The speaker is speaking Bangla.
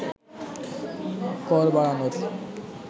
কর বাড়ানোর